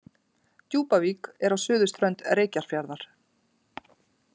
Djúpavík er á suðurströnd Reykjarfjarðar.